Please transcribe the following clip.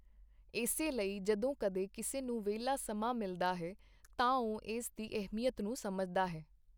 ਇਸੇ ਲਈ ਜਦੋਂ ਕਦੇ ਕਿਸੇ ਨੂੰ ਵਿਹਲਾ ਸਮਾਂ ਮਿਲਦਾ ਹੈ, ਤਾਂ ਉਹ ਇਸ ਦੀ ਅਹਿਮੀਅਤ ਨੂੰ ਸਮਝਤਾ ਹੈ।